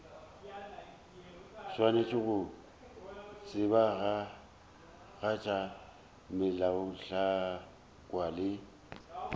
swanetše go tsebagatša melaotlhakwa le